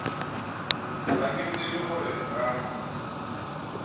ga ke tsebe gore nka